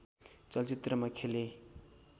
चलचित्रमा खेले